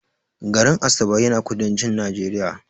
garin Asaba yana kudancin Najeriya